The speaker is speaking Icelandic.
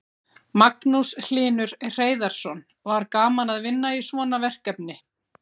Magnús Hlynur Hreiðarsson: Var gaman að vinna í svona verkefni?